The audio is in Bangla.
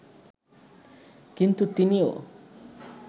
কিন্তু তিনিও